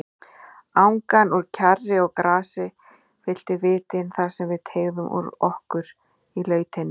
Angan úr kjarri og grasi fyllti vitin þarsem við teygðum úr okkur í lautinni.